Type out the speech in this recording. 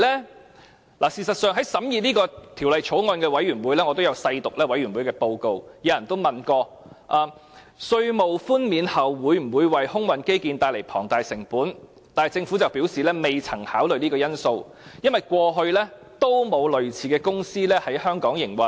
事實上，我也曾細讀審議這項《條例草案》的法案委員會報告，當中亦有委員問及在稅務寬免後，會否為空運基建帶來龐大成本，但政府則表示未曾考慮這個因素，因為過去沒有類似的公司在香港營運。